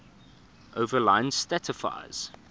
overline satisfies